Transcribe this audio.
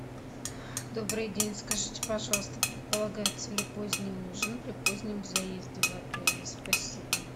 добрый день скажите пожалуйста предполагается ли поздний ужин при позднем заезде в отеле спасибо